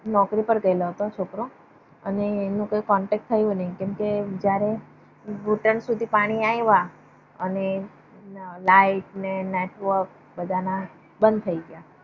નોકરી પર ગયલો હતો છોકરો. અને એમને contact થયો નહિ કેમ કે જયારે ઘૂંટણ સુધી પાણી આવિયા અને લાઈટ ને network બધા ના બંધ થઇ ગયા.